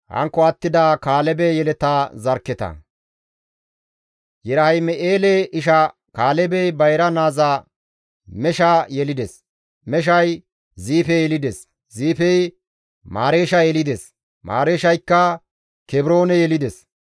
Yerahim7eele isha Kaalebey bayra naaza Mesha yelides; Meshay Ziife yelides; Ziifey Mareesha yelides; Mareeshayka Kebroone yelides.